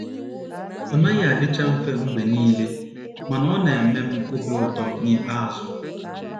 Ọ naghị adịcha mfe mgbe niile, ma, ọ na - eme m obi ụtọ n’ikpeazụ. ”